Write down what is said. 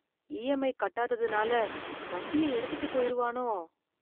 EMI கட்டாதாதனால வண்டி எடுத்துட்டு போயிருவானோ?